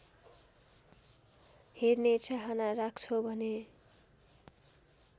हेर्ने चाहना राख्छौ भने